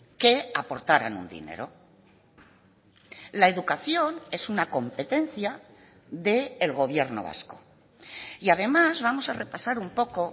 que aportaran un dinero la educación es una competencia del gobierno vasco y además vamos a repasar un poco